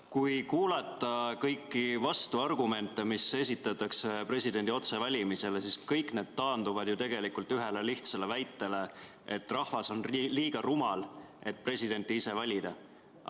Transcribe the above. Kui kuulata kõiki vastuargumente, mis esitatakse presidendi otsevalimisele, siis kõik need taanduvad ju tegelikult ühele lihtsale väitele, et rahvas on liiga rumal, et presidenti ise valida.